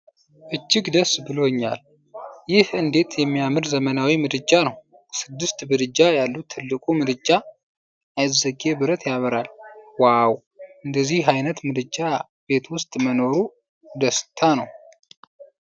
እጅግ ደስ ብሎኛል! ይህ እንዴት የሚያምር ዘመናዊ ምድጃ ነው! ስድስት ምድጃ ያሉት ትልቁ ምድጃ፣ አይዝጌ ብረት ያበራል! ዋው፣ እንደዚህ አይነት ምድጃ ቤት ውስጥ መኖሩ ደስታ ነው!